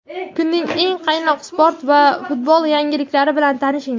Kunning eng qaynoq sport va futbol yangiliklarni bilan tanishing:.